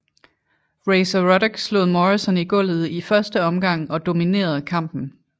Razor Ruddock slog Morrison i gulvet i 1 omgang og dominerede kampen